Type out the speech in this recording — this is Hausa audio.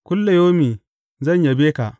Kullayaumi zan yabe ka.